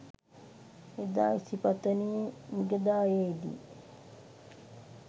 එදා ඉසිපතනයේ මිගදායේ දි